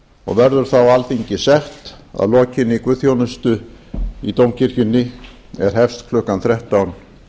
og verður þá alþingi sett að lokinni guðsþjónustu í dómkirkjunni sem hefst klukkan þrettán